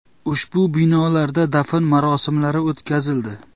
Ushbu binolarda dafn marosimlari o‘tkazildi.